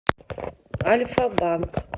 альфа банк